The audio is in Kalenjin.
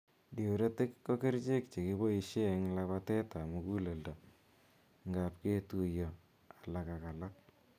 duretik ko kercheek chegiboishee eng labateet ap muguleldo ngaap ketuyo ak alaak.